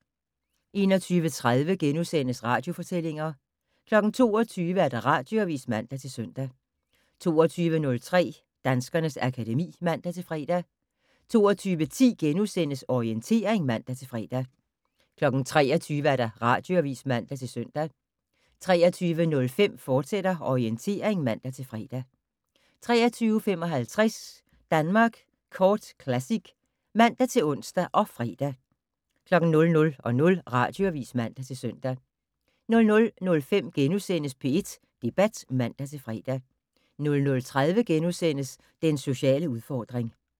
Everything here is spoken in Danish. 21:30: Radiofortællinger * 22:00: Radioavis (man-søn) 22:03: Danskernes akademi (man-fre) 22:10: Orientering *(man-fre) 23:00: Radioavis (man-søn) 23:05: Orientering, fortsat (man-fre) 23:55: Danmark Kort Classic (man-ons og fre) 00:00: Radioavis (man-søn) 00:05: P1 Debat *(man-fre) 00:30: Den sociale udfordring *